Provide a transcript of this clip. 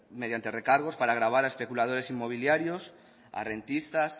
mediante recargos para gravar a especuladores inmobiliarios a rentistas